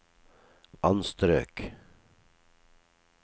anstrøk